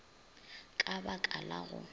ka ba ka la go